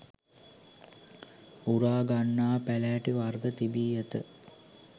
උරා ගන්නා පැළෑටි වර්ග තිබී ඇත.